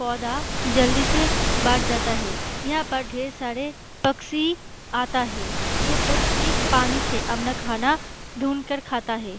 पौधा जल्दी से बढ़ जाता है यहाँ पर ढेर सारे पक्षी आता है ये पक्षी पानी से अपना खाना ढुंड कर खाता है।